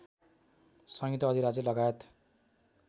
संयुक्त अधिराज्य लगायत